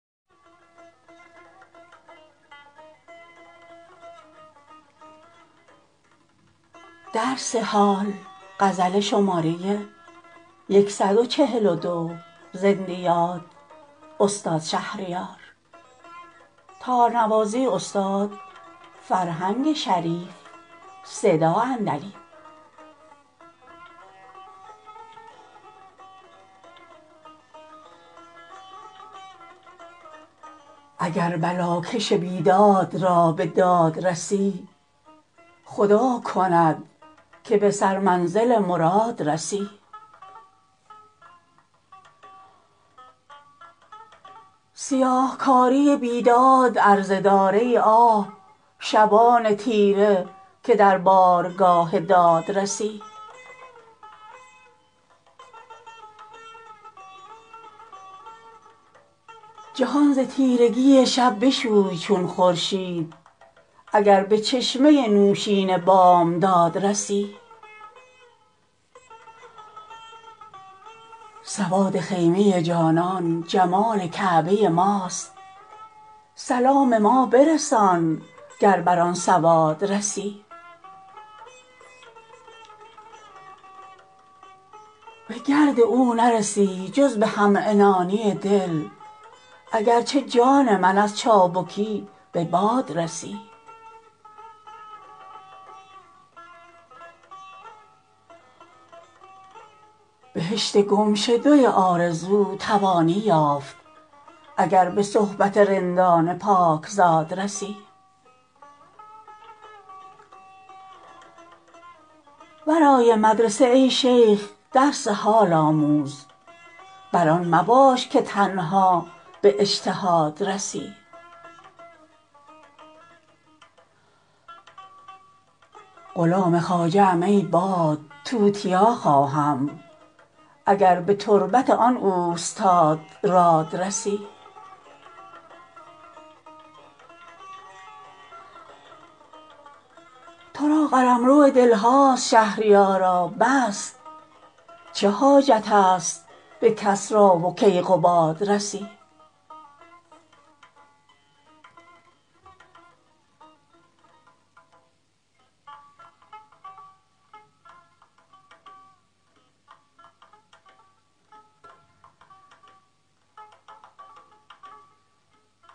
اگر بلاکش بیداد را به داد رسی خدا کند که به سر منزل مراد رسی سیاهکاری بیداد عرضه دار ای آه شبان تیره که در بارگاه داد رسی جهان ز تیرگی شب بشوی چون خورشید اگر به چشمه نوشین بامداد رسی تو فکر ذوق سفر کن نه فکر زاد سفر که پیش از آنکه مسافر شوی به زاد رسی سواد خیمه جانان جمال کعبه ماست سلام ما برسان گر بر آن سواد رسی به گرد او نرسی جز به همعنانی دل اگرچه جان من از چابکی به باد رسی عجب مدار از این دشمنان دوست نما در این زمانه به این ناکسان زیاد رسی بهشت گمشده آرزو توانی یافت اگر به صحبت رندان پاکزاد رسی ورای مدرسه ای شیخ درس حال آموز بر آن مباش که تنها به اجتهاد رسی غلام خواجه ام ای باد توتیا خواهم اگر به تربت آن اوستاد راد رسی ترا قلمرو دل هاست شهریارا بس چه حاجتست به کسرا و کیقباد رسی